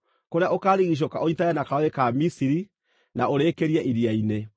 kũrĩa ũkaarigiicũka, ũnyiitane na karũũĩ ka Misiri, na ũrĩkĩrie Iria-inĩ.